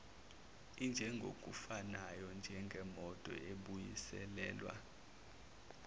injengokufanayo njengemoto ebuyiselelwa